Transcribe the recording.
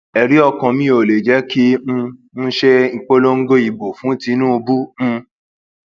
ẹrí ọkàn mi ò lè jẹ kí um n ṣe ìpolongo ìbò fún tìǹbù um